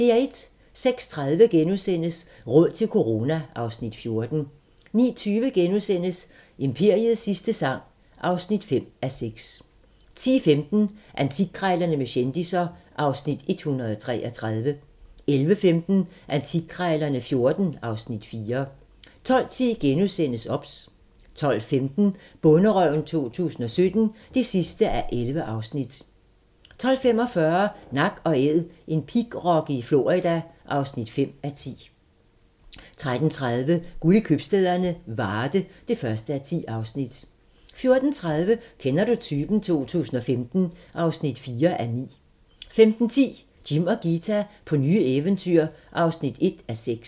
06:30: Råd til corona (Afs. 14)* 09:20: Imperiets sidste sang (5:6)* 10:15: Antikkrejlerne med kendisser (Afs. 133) 11:15: Antikkrejlerne XIV (Afs. 4) 12:10: OBS * 12:15: Bonderøven 2017 (11:11) 12:45: Nak & Æd - en pigrokke i Florida (5:10) 13:30: Guld i købstæderne - Varde (1:10) 14:30: Kender du typen? 2015 (4:9) 15:10: Jim og Ghita på nye eventyr (1:6)